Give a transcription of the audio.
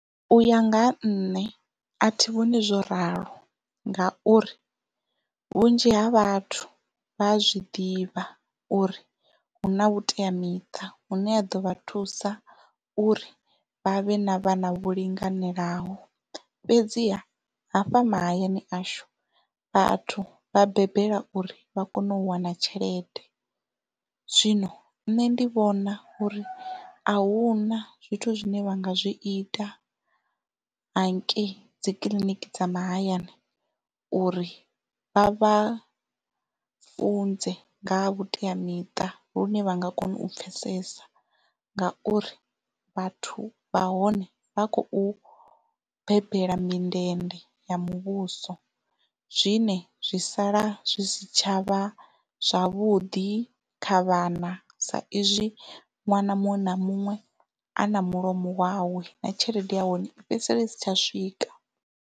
Uya nga ha nṋe a thi vhoni zwo ralo ngauri vhunzhi ha vhathu vha a zwi ḓivha uri huna vhuteamiṱa hune ha ḓo vha thusa uri vha vhe na vhana vho linganelaho fhedziha hafha mahayani ashu vhathu vha bebela uri vha kone u wana tshelede zwino nṋe ndi vhona uri ahuna zwithu zwine vha nga zwi ita hangei dzikiḽiniki dza mahayani uri vha vhafunze nga ha vhuteamiṱa lune vha nga kona u pfesesa ngauri vhathu vha hone vha khou bebela mindende ya muvhuso zwine zwi sala zwi si tshavha zwavhuḓi kha vhana sa izwi ṅwana muṅwe na muṅwe a na mulomo wawe na tshelede ya hone i fhedzisela i si tsha swika.